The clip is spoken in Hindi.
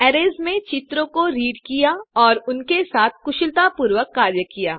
अरैज़ में चित्रों को रीड किया और उनके साथ कुशलतापूर्वक कार्य किया